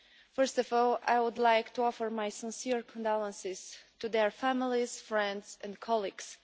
First of all, I would like to offer my sincere condolences to their families, friends and colleagues.